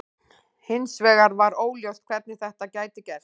Hins vegar var óljóst hvernig þetta gæti gerst.